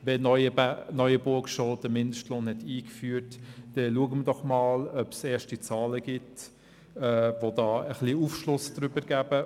Wenn Neuenburg schon den Mindestlohn eingeführt hat, dann schauen wir doch einmal, ob es erste Zahlen gibt, die darüber ein wenig Aufschluss geben.